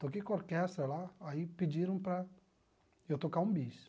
Toquei com orquestra lá, aí pediram para eu tocar um bis.